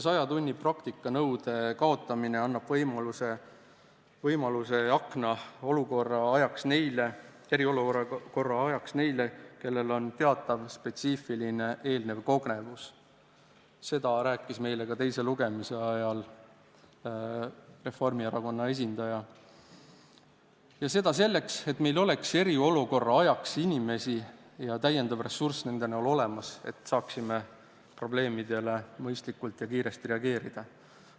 Sajatunnise praktika nõude kaotamine annab eriolukorra ajaks võimaluse neile, kellel on varasemast teatav spetsiifiline kogemus – seda rääkis meile teise lugemise ajal ka Reformierakonna esindaja –, ja seda selleks, et meil oleks eriolukorra ajal olemas täiendav inimressurss, mis võimaldaks probleemidele mõistlikult ja kiiresti reageerida.